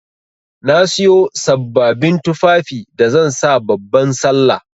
Na Siyo sabbabin tufafi da zan sa babban sallah.